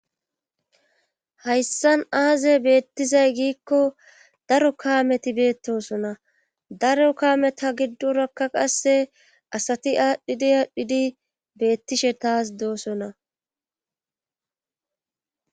Hayssan aazey beettizay giikko daro kaameti beettosona daro kaameta giddorakka qasse asati aadhdhidi aadhdhidi beettishe taas doosona.